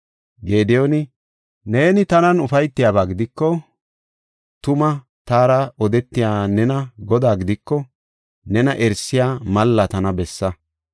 Gediyooni, “Neeni tanan ufaytiyaba gidiko, tuma taara odetey neeni Godaa gidiko, nena erisiya malla tana bessa.